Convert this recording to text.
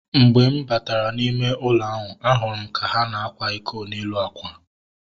Mgbe m batara n'ime ụlọ ahu, a hụrụ m ha ka na-ákwà iko n'elu akwa